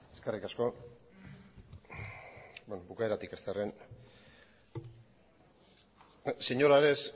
eskerrik asko beno bukaeratik hastearren señor ares